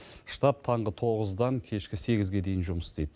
штаб таңғы тоғыздан кешкі сегізге дейін жұмыс істейді